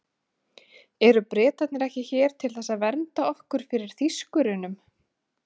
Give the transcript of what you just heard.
Eru Bretarnir ekki hér til þess að vernda okkur fyrir Þýskurunum?